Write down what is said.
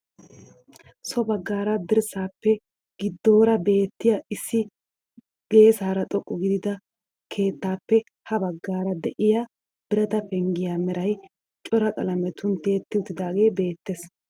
So baggaara dirssaappe giddoora beettiyaa issi geessara xoqqa gidida keettaappe ha baggaar de'iyaa birata penggiyaa meray cora qalametun tiyetti uttidagee bettees.